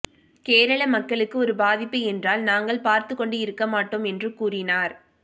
கேரளா மக்களுக்கு ஒரு பாதிப்பு என்றால் நாங்கள் பார்த்து கொண்டு இருக்க மாட்டோம் என்று கூறினார்